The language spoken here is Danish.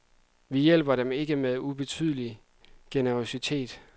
Vi hjælper dem med ikke ubetydelig generøsitet.